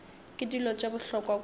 ke dilo tše bohlokwa kudu